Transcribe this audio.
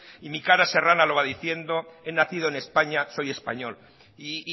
y mi cara serrana lo va diciendo he nacido en españa soy español y